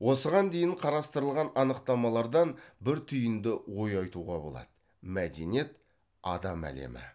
осыған дейін қарастырылған анықтамалардан бір түйінді ой айтуға болады мәдениет адам әлемі